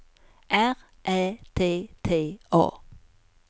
R Ä T T A